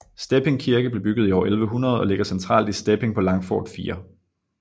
Stepping Kirke blev bygget i år 1100 og ligger centralt i Stepping på Langfort 4